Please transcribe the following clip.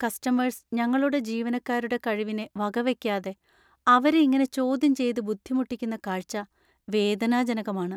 Customers ഞങ്ങളുടെ ജീവനക്കാരുടെ കഴിവിനെ വകവെക്കാതെ അവരെ ഇങ്ങനെ ചോദ്യം ചെയ്ത് ബുദ്ധിമുട്ടിക്കുന്ന കാഴ്ച്ച വേദനാജനകമാണ്.